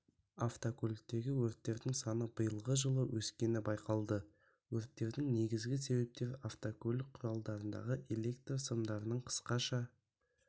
автокөліктегі өрттердің саны биылғы жылы өскені байқалды өрттердің негізігі себептері автокөлік құралдарындағы электр сымдарының қысқаша